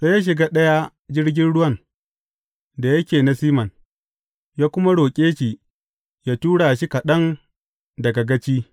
Sai ya shiga ɗaya jirgin ruwan da yake na Siman, ya kuma roƙe shi yă tura shi kaɗan daga gaci.